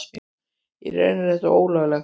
Í rauninni er þetta ólöglegt.